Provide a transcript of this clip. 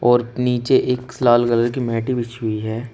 और नीचे एक स लाल कलर की मैटे बिछी हुई है।